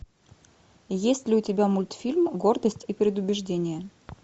есть ли у тебя мультфильм гордость и предубеждение